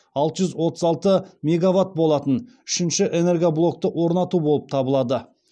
алты жүз отыз алты мегаватт болатын үшінші энергоблокты орнату болып табылады